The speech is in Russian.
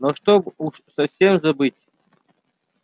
но чтобы уж совсем забыть